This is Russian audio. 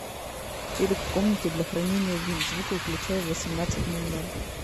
телек в комнате для хранения вин звук выключай в восемнадцать ноль ноль